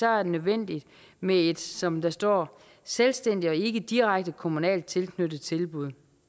er nødvendigt med et som der står selvstændigt og ikke direkte kommunalt tilknyttet tilbud